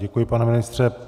Děkuji, pane ministře.